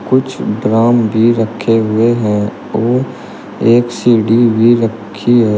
कुछ ड्राम भी रखे हुए हैं और एक सीढ़ी भी रखी है।